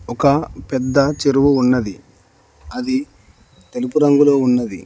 ఒక పెద్ద చెరువు ఉన్నది అది తెలుపు రంగులో ఉన్నది.